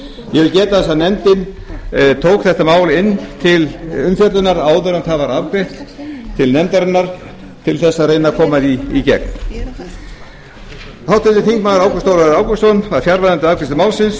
ég vil geta þess að nefndin tók þetta mál inn til umfjöllunar áður en það var afgreitt til nefndarinnar til þess að reyna að koma því í gegn háttvirtir þingmenn ágúst ólafur ágústsson var fjarverandi við afgreiðslu málsins